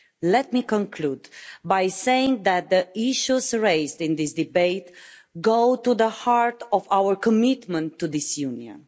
Let me conclude by saying that the issues raised in this debate go to the heart of our commitment to this Union.